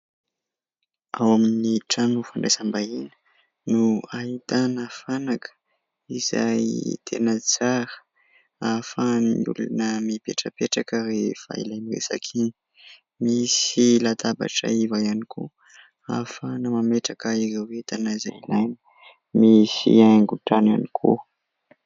Ao amin'ny trano fandraisam-bahiny no ahitana fanaka izay tena tsara, ahafahan'ny olona mipetrapetraka rehefa ilay miresaka iny. Misy latabatra iva ihany koa ahafahana mametraka ireo entana izay ilaina, misy haingon-trano ihany koa.